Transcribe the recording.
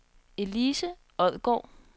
Elise Odgaard